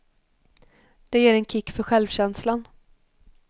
Det ger en kick för självkänslan.